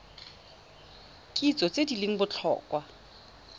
kitso tse di leng botlhokwa